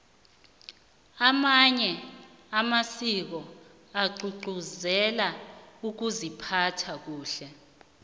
amanye amasiko agcugcuzela ukuziphatha kahle